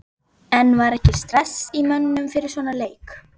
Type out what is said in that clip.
En var ekki stress í mönnum fyrir svona leik?